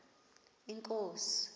inkosi